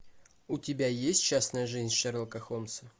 у тебя есть частная жизнь шерлока холмса